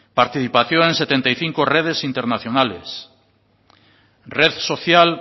participación en setenta y cinco redes internacionales red social